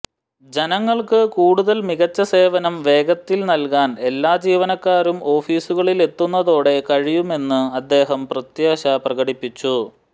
ജനങ്ങൾക്ക് കൂടുതൽ മികച്ച സേവനം വേഗത്തിൽ നൽകാൻ എല്ലാ ജീവനക്കാരും ഓഫീസുകളിൽ എത്തുന്നതോടെ കഴിയുമെന്നും അദ്ദേഹം പ്രത്യാശ പ്രകടിപ്പിച്ചു